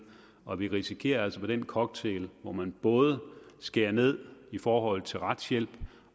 og vi risikerer altså med den cocktail hvor man både skærer ned i forhold til retshjælp